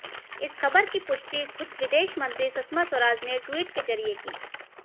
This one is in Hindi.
इस खबर की पुष्टि खुद विदेश मंत्री सुषमा स्वराज ने ट्वीट के जरिए की